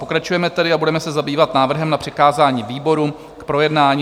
Pokračujeme tedy a budeme se zabývat návrhem na přikázání výborům k projednání.